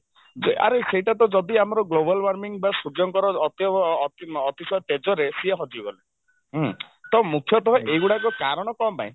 ଯେ ଆରେ ସେଇଟାତ ଯଦି ଆମାର global warming ବା ସୂର୍ଯ୍ୟଙ୍କର ଅତ୍ୟ ଅତି ଅତିଶୟ ତେଜରେ ସିଏ ହଜିଗଲେ ହୁଁ ତ ମୁଖ୍ୟତଃ ଏଇଗୁଡାକ କାରଣ କଣ ପାଇଁ?